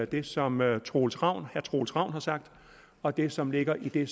det som herre troels ravn troels ravn har sagt og det som ligger i det